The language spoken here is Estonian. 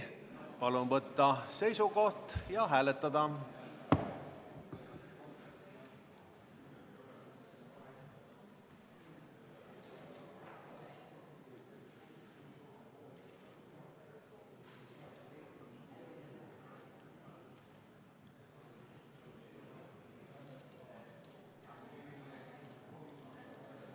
Palun võtta seisukoht ja hääletada!